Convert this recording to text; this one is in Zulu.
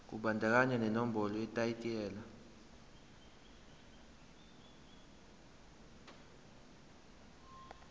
kubandakanya nenombolo yetayitela